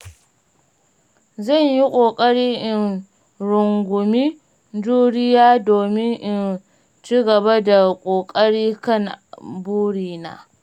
Zan yi ƙoƙari in rungumi juriya domin in ci gaba da ƙoƙari kan burina.